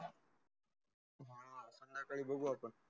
संध्याकाली बागू आपन.